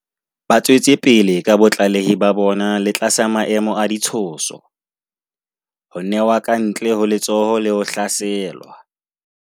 Ba tswetse pele ka botlalehi ba bona le tlasa maemo a ditshoso, ho newa kantle ho letsoho le ho hlaselwa.